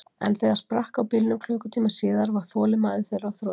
En þegar sprakk á bílnum klukkutíma síðar, var þolinmæði þeirra á þrotum.